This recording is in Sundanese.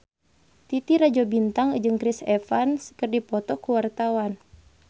Titi Rajo Bintang jeung Chris Evans keur dipoto ku wartawan